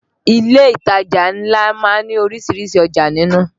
Ilé ìtajà ńlá má ń ní orísìírísìí ọjà nínú